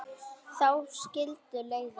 Þá skildu leiðir.